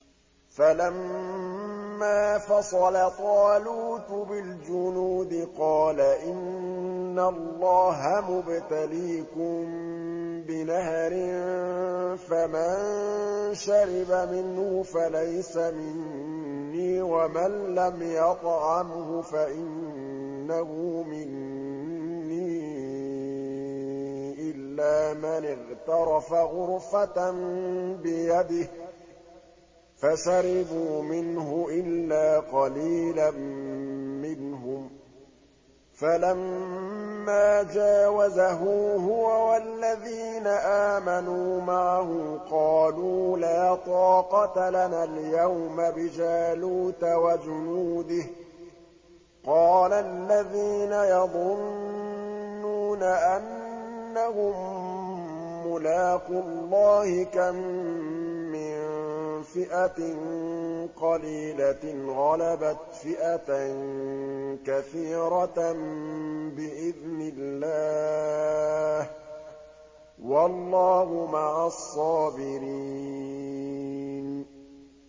فَلَمَّا فَصَلَ طَالُوتُ بِالْجُنُودِ قَالَ إِنَّ اللَّهَ مُبْتَلِيكُم بِنَهَرٍ فَمَن شَرِبَ مِنْهُ فَلَيْسَ مِنِّي وَمَن لَّمْ يَطْعَمْهُ فَإِنَّهُ مِنِّي إِلَّا مَنِ اغْتَرَفَ غُرْفَةً بِيَدِهِ ۚ فَشَرِبُوا مِنْهُ إِلَّا قَلِيلًا مِّنْهُمْ ۚ فَلَمَّا جَاوَزَهُ هُوَ وَالَّذِينَ آمَنُوا مَعَهُ قَالُوا لَا طَاقَةَ لَنَا الْيَوْمَ بِجَالُوتَ وَجُنُودِهِ ۚ قَالَ الَّذِينَ يَظُنُّونَ أَنَّهُم مُّلَاقُو اللَّهِ كَم مِّن فِئَةٍ قَلِيلَةٍ غَلَبَتْ فِئَةً كَثِيرَةً بِإِذْنِ اللَّهِ ۗ وَاللَّهُ مَعَ الصَّابِرِينَ